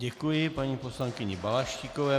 Děkuji paní poslankyni Balaštíkové.